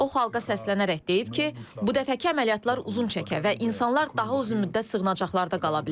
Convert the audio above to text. O xalqa səslənərək deyib ki, bu dəfəki əməliyyatlar uzun çəkə və insanlar daha uzun müddət sığınacaqlarda qala bilər.